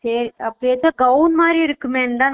சரி அப்ப இப்ப gown மாறி இருக்குமேதா